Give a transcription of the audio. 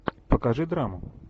покажи драму